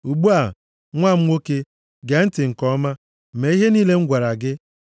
Ugbu a, nwa m nwoke, gee ntị nke ọma, mee ihe niile m gwara gị.